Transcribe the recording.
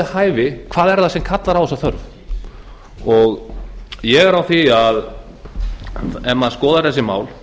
hæfi hvað er það sem kallar á þessa þörf ég er á því að ef maður skoðar þessi mál